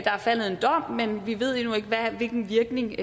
er faldet en dom men vi ved endnu ikke hvilken virkning den